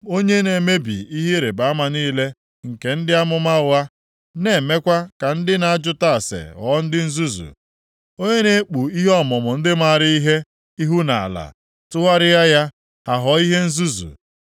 onye na-emebi ihe ịrịbama niile nke ndị amụma ụgha na-emekwa ka ndị na-ajụta ase ghọọ ndị nzuzu, onye na-ekpu ihe ọmụmụ ndị maara ihe ihu nʼala tụgharịa ya, ha ghọọ ihe nzuzu,